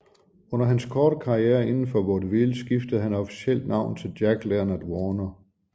Under hans korte karriere indenfor vaudeville skiftede han officielt navn til Jack Leonard Warner